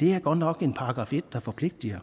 det er godt nok en § en der forpligter